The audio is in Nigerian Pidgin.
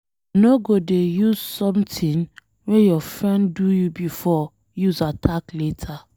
No go dey use something wey your friend do you before use attack later.